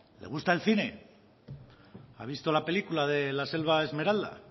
le gusta el cine ha visto la película de la selva esmeralda